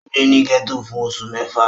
Ó gbé ní gẹ́tò fún oṣù mẹ́fà